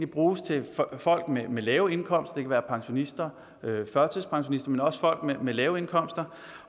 bruges til folk med lave indkomster være pensionister førtidspensionister men også folk med lave indkomster